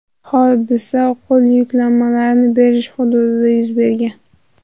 Hodisa qo‘l yuklarini berish hududida yuz bergan.